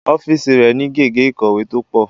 Ọ́fíìsì rẹ̀ ni gègé ìkọ̀wé tó pọ̀